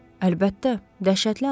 Əlbəttə, dəhşətli hadisədir.